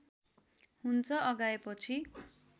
हुन्छ अघाएपछि